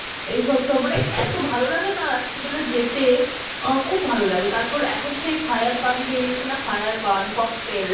এই সব মানে এত ভালো লাগে না রাতটি বেলা যেতে অ্যাঁ খুব ভালো লাগে তার পর, এখন সেই fire পান বেরিয়েছে না fire পান, cocktail